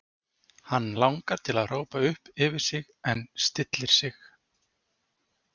Hann langar til að hrópa upp yfir sig en stillir sig.